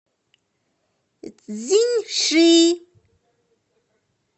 цзиньши